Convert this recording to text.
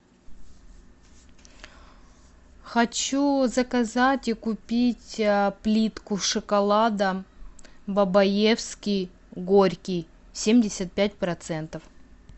хочу заказать и купить плитку шоколада бабаевский горький семьдесят пять процентов